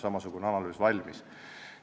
Valmis ka samasugune analüüs.